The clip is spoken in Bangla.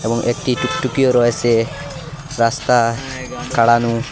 এবং একটি টুকটুকিও রয়েছে রাস্তা কারানো ।